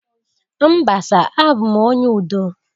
Mba sir, abum onye udo